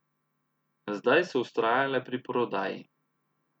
Zdaj so vztrajale pri prodaji.